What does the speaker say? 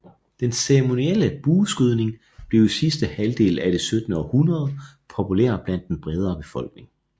Den ceremonielle bueskydning blev i sidste halvdel af det syttende århundrede populær blandt den bredere befolkning